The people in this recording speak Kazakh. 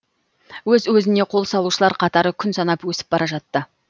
өз өзіне қол салушылар қатары күн санап өсіп бара жатты